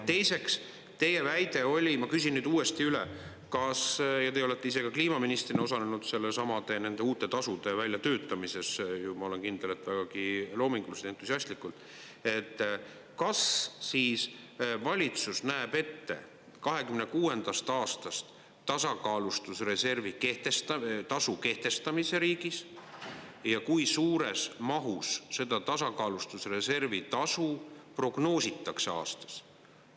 Teiseks, teie väide oli, ma küsin nüüd uuesti üle, te olete ise ka kliimaministrina osalenud nendesamade uute tasude väljatöötamises, ma olen kindel, et vägagi loominguliselt ja entusiastlikult, et kas siis valitsus näeb ette 2026. aastast tasakaalustusreservi tasu kehtestamise riigis ja kui suures mahus seda tasakaalustusreservi tasu prognoositakse aastas?